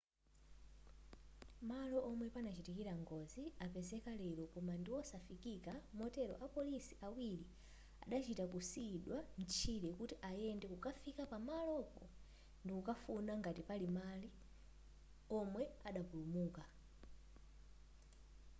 malo omwe panachitikira ngozi apezeka lero koma ndiwosafikika motero apolisi awiri adachita kusiyidwa mtchire kuti ayende kukafika pamalopo ndikufuna ngati pali omwe adapulumuka